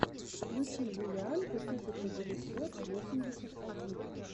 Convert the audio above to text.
включи юлианку тысяча девятьсот восемьдесят один